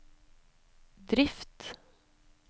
drift